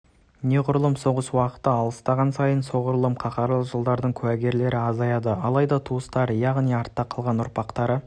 неғұрлым соғыс уақыты алыстаған сайын соғұрлым қаһарлы жылдардың куәгерлері азаяды алайда туыстары яғни артта қалған ұрпақтары